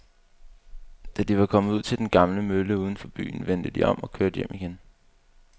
Da de var kommet ud til den gamle mølle uden for byen, vendte de om og kørte hjem igen.